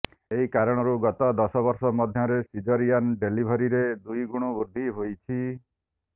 ଏହି କାରଣରୁ ଗତ ଦଶ ବର୍ଷ ମଧ୍ୟରେ ସିଜରିଆନ ଡେ଼ଲିଭରୀରେ ଦୁଇଗୁଣ ବୃଦ୍ଧି ହୋଇଛି